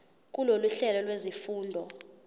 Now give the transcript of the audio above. kulolu hlelo lwezifundo